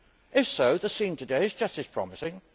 If so, the scene today is just as promising.